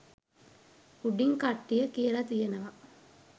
උඩින් කට්ටිය කියල තියෙනව